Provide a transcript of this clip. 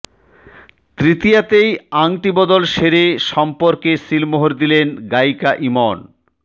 তৃতীয়াতেই আংটি বদল সেরে সম্পর্কে শিলমোহর দিলেন গায়িকা ইমন